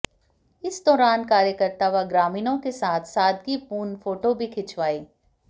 इस दौरान कार्यकर्ता व ग्रामीणों के साथ सादगी पूर्ण फोटो भी खिंचवाई